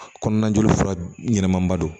Kɔnɔna joli fura ɲɛnaman ba don